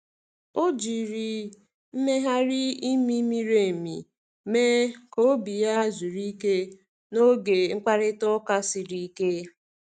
O jiri mmegharị imi miri emi mee ka obi ya zuru ike n’oge mkparịta ụka siri ike.